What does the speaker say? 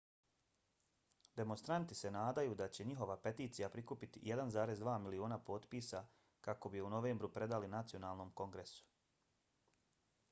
demonstranti se nadaju da će njihova peticija prikupiti 1,2 miliona potpisa kako bi je u novembru predali nacionalnom kongresu